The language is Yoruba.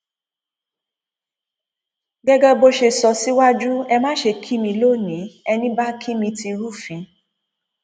gẹgẹ bó ṣe sọ síwájú ẹ má ṣe kí mi lónìí ẹní bá kí mi ti rúfin